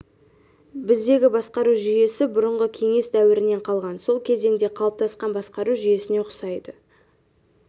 біздегі басқару жүйесі бұрынғы кеңес дәуірінен қалған сол кезеңде қалыптасқан басқару жүйесіне ұқсайды